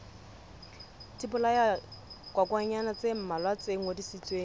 dibolayakokwanyana tse mmalwa tse ngodisitsweng